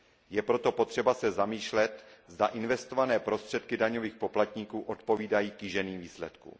Je proto potřeba se zamýšlet, zda investované prostředky daňových poplatníků odpovídají kýženým výsledkům.